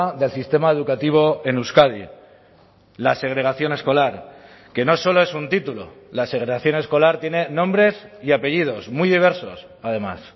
del sistema educativo en euskadi la segregación escolar que no solo es un título la segregación escolar tiene nombres y apellidos muy diversos además